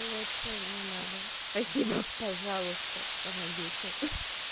лучше не надо спасибо пожалуйста помогите